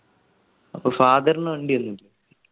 അപ്പൊ father ന് വണ്ടി ഒന്നുല്ലേ